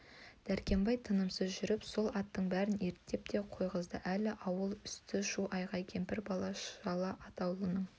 дәркембай тынымсыз жүріп сол аттың бәрін ерттеп те қойғызды әлі ауыл үсті шу-айғай кемпір-шал бала атаулының